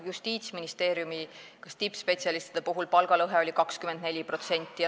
Justiitsministeeriumis oli vist tippspetsialistide palgalõhe 24%.